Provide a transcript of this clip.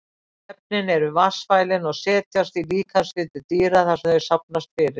Efnin eru vatnsfælin og setjast í líkamsfitu dýra þar sem þau safnast fyrir.